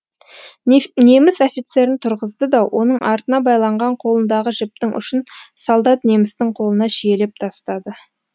неміс офицерін тұрғызды да оның артына байланған қолындағы жіптің ұшын солдат немістің қолына шиелеп тастады